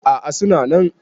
a a suna nan